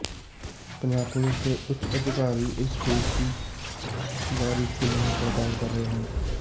Punjab police ਦੇ ਉੱਚ ਅਧਿਕਾਰੀ ਇਸ ਕੇਸ ਦੀ ਬਾਰੀਕੀ ਨਾਲ ਪੜਤਾਲ ਕਰ ਰਹੇ ਹਨ